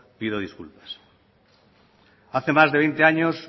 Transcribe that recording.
pido disculpas hace más de veinte años